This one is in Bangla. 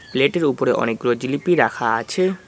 প্লেটের ওপরে অনেকগুলো জিলিপি রাখা আছে।